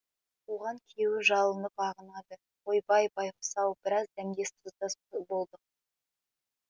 оған күйеуі жалынып ағынады ойбай байқұс ау біраз дәмдес тұздас болдық